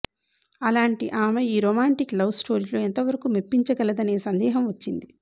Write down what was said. అలాంటి ఆమె ఈ రొమాంటిక్ లవ్ స్టోరీలో ఎంతవరకూ మెప్పించగలదనే సందేహం వచ్చింది